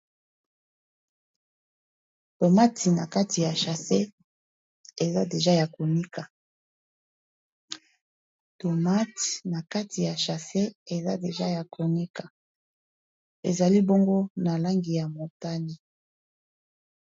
tomati na kati ya chasse eza deja ya konika ezali bongo na langi ya motani